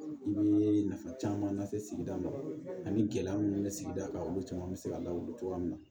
I bɛ nafa caman lase sigida ma ani gɛlɛya minnu bɛ sigida kan olu caman bɛ se ka lawuli cogoya min na